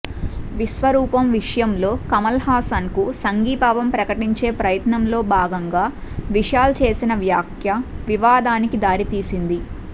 విశ్వరూపం విషయంలో కమల్హాసన్కు సంఘీభావం ప్రకటించే ప్రయత్నంలో భాగంగా విశాల్ చేసిన వ్యాఖ్య వివాదానికి దారి తీసింది